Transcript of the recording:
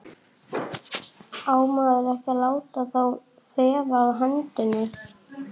Á maður ekki að láta þá þefa af hendinni?